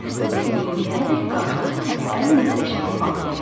Bu bizim indiyənədək qarşılaşdığımız ən möhtəşəm faktdır.